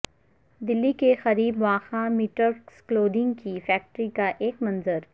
دلی کے قریب واقع میٹرکس کلودنگ کی فیکٹری کا ایک منظر